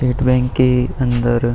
state Bank के अंदर --